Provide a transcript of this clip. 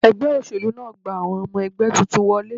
Ẹgbẹ́ òṣèlú náà gba àwọn ọmọ ẹgbẹ́ tuntun wọlé